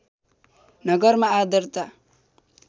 नगरमा आर्द्रता